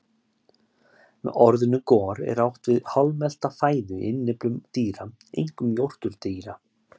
Með orðinu gor er átt við hálfmelta fæðu í innyflum dýra, einkum jórturdýra.